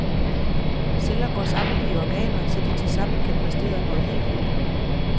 Celler går sammen i organer, så de tilsammen kan præstere noget helt nyt.